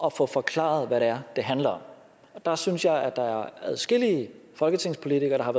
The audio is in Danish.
at få forklaret hvad det er det handler om og der synes jeg at der er adskillige folketingspolitikere der har